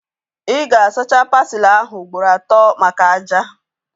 Ị ga-asacha pasili ahu ugboro atọ maka ájá